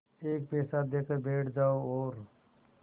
एक पैसा देकर बैठ जाओ और